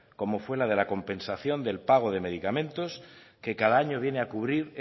como fue la de compensación del pago de medicamentos que cada año viene a cubrir